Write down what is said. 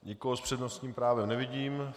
Nikoho s přednostním právem nevidím.